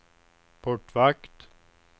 portvakt